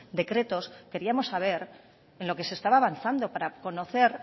decretos queríamos saber en lo que se estaba avanzando para conocer